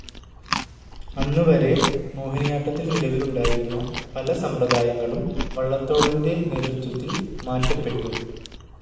അന്ന് വരെ മോഹിനിയാട്ടത്തിൽ നിലവിലുണ്ടായിരുന്ന പല സമ്പ്രദായങ്ങളും വള്ളത്തോളിൻ്റെ നേതൃത്വത്തിൽ മാറ്റപ്പെട്ടു.